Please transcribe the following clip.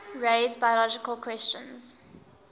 raise biological questions